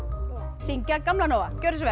syngja Gamla Nóa gjörið svo vel